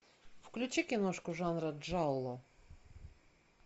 включи киношку жанра джалло